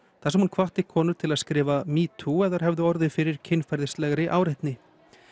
þar sem hún hvatti konur til að skrifa metoo ef þær hefðu orðið fyrir kynferðislegri áreitni